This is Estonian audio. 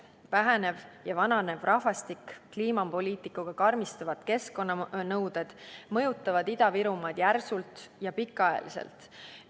Vähenev ja vananev rahvastik, kliimapoliitikaga karmistuvad keskkonnanõuded mõjutavad Ida-Virumaad järsult ja pikaajaliselt.